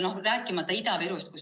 Rääkimata Ida-Virumaast.